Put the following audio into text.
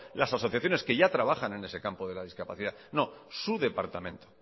las asociaciones que ya trabajan en ese campo de la discapacidad no su departamento